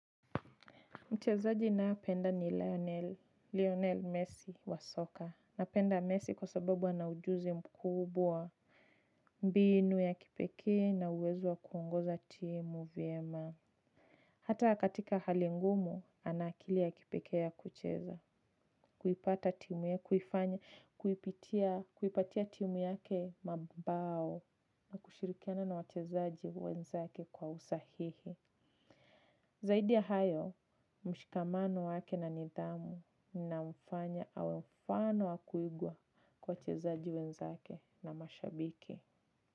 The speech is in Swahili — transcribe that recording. Mchezaji ninaopenda ni Lionel, Lionel Messi wa soka. Napenda Messi kwa sababu ana ujuzi mkubwa. Mbinu ya kipekee na uwezo wa kuongoza timu vyema. Hata katika hali ngumu, ana akili ya kipekee ya kucheza. Kuipata timu ya kuifanya, kuipitia, kuipatia timu yake mabao. Na kushirikiana na wachezaji wenzake kwa usahihi. Zaidi ya hayo, mshikamano wake na nidhamu. Namfanya awe mfano wa kuigwa kwa wachezaji wenzake na mashabiki.